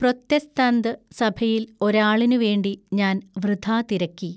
പ്രൊത്തെസ്താന്ത് സഭയിൽ ഒരാളിനു വേണ്ടി ഞാൻ വൃഥാ തിരക്കി.